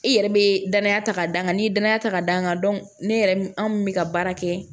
I yɛrɛ be danaya ta ka d'a kan n'i ye danaya ta ka d'a kan ne yɛrɛ anw min bɛ ka baara kɛ